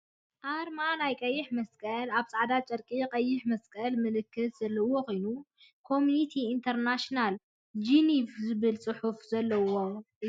ኣርማ ናይ ቀይሕ መስቀል ኣብ ፃዕዳ ጨርቂ ቀይሕ መስቀል ምልክት ዘለዋ ኮይና ኮሚኒቲ ኢንተር ናሽናል ጂኒቭ ዝብል ፅሑፍ ዘለዋ እያ ።